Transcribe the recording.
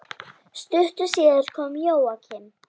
Stuttu síðar kom Jóakim.